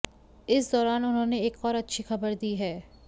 इस दौरान उन्होंने एक और अच्छी खबर दी है